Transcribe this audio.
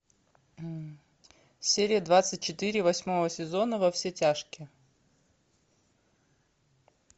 серия двадцать четыре восьмого сезона во все тяжкие